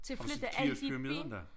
Har du set Keopspyramiden da?